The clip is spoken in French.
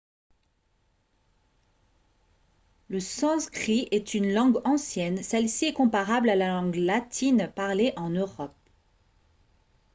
le sanskrit est une langue ancienne celle-ci est comparable à la langue latine parlée en europe